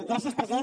gràcies president